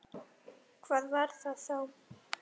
Hvað var það þá?